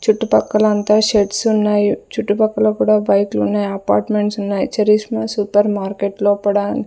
చుట్టుపక్కలంతా sheds ఉన్నాయి చుట్టుపక్కల కూడా బైకులున్నాయి అపార్ట్మెంట్స్ ఉన్నాయి చరిష్మా సూపర్ మార్కెట్ లోపడ--